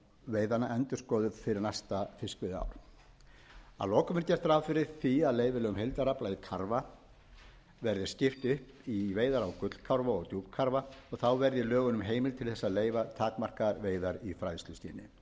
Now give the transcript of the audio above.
veiðanna endurskoðað fyrir næsta fiskveiðiár að lokum er gert ráð fyrir því að leyfilegum heildarafla í karfa verði skipt upp í veiðar á gullkarfa og djúpkarfa og þá verði í lögunum heimild til þess að leyfa takmarkaðan veiðar